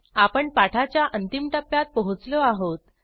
आपण पाठाच्या अंतिम टप्प्यात पोहोचलो आहोत